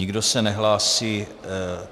Nikdo se nehlásí.